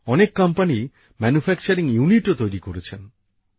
অনেক কোম্পানি উৎপাদন কেন্দ্র ও তৈরি করছেন